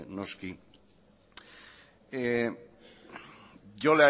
noski yo